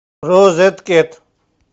розеткед